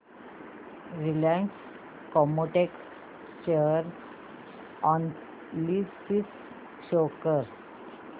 Reliance Chemotex share analysis show कर